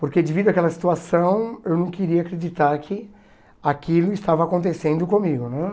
Porque devido àquela situação, eu não queria acreditar que aquilo estava acontecendo comigo, né?